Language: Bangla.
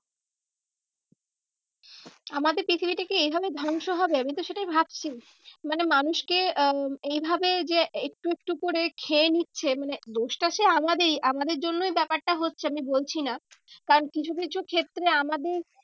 আমাদের পৃথিবীটা কি এইভাবেই ধ্বংস হবে আমি তো সেটাই ভাবছি। মানে মানুষকে আহ এইভাবে যে একটু একটু করে খেয়ে নিচ্ছে মানে দোষটা সেই আমাদেরই, আমাদের জন্যই ব্যাপারটা হচ্ছে আমি বলছি না। কারণ কিছু কিছু ক্ষেত্রে আমাদের